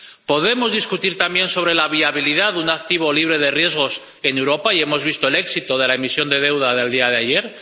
¿Podemos discutir también sobre la viabilidad de un activo libre de riesgos en Europa —y hemos visto el éxito de la emisión de deuda del día de ayer—?